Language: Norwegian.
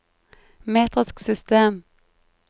metrisk system